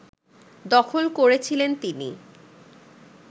দখল করেছিলেন তিনি